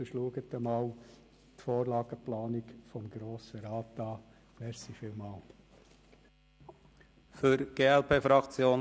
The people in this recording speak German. Wir hoffen, dass wir morgen Vormittag dann die Ergebnisse der Wahlen haben, die wir jetzt getätigt haben.